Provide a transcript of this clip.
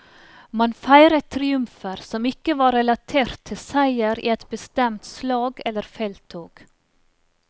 Man feiret triumfer som ikke var relatert til seier i et bestemt slag eller felttog.